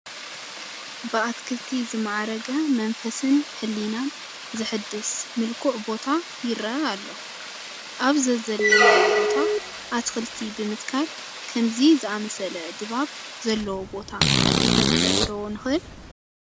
ብኣትክልቲ ዝማዕረገ መንፈስን ሕሊናን ዘሕድስ ምልኩዕ ቦታ ይርአ ኣሎ፡፡ ኣብ ዘዘለናዮ ቦታ ኣትኽልቲ ብምትካል ከምዚ ዝኣምሰለ ድባብ ዘለዎ ቦታ ክንፈጥር ዶ ንኽእል?